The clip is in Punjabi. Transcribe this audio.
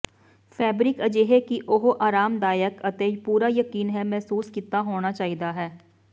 ਫੈਬਰਿਕ ਅਜਿਹੇ ਕਿ ਉਹ ਆਰਾਮਦਾਇਕ ਅਤੇ ਪੂਰਾ ਯਕੀਨ ਹੈ ਮਹਿਸੂਸ ਕੀਤਾ ਹੋਣਾ ਚਾਹੀਦਾ ਹੈ